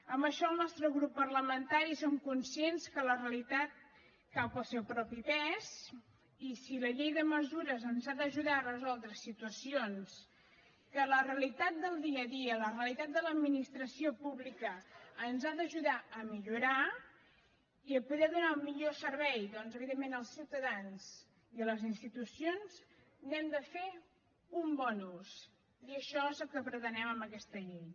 amb això al nostre grup parlamentari som conscients que la realitat cau pel seu propi pes i si la llei de mesures ens ha d’ajudar a resoldre situacions que la realitat del dia a dia la realitat de l’administració pública ens ha d’ajudar a millorar i a poder donar un millor servei doncs evidentment als ciutadans i a les institucions n’hem de fer un bon ús i això és el que pretenem amb aquesta llei